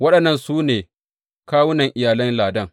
Waɗannan su ne kawunan iyalan Ladan.